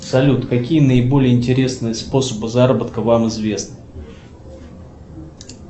салют какие наиболее интересные способы заработка вам известны